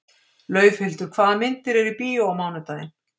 Laufhildur, hvaða myndir eru í bíó á mánudaginn?